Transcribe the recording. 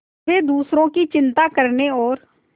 वे दूसरों की चिंता करने और